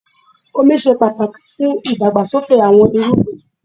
Omi ṣe pàtàkì fún ìdàgbàsókè àwọn irúgbìn.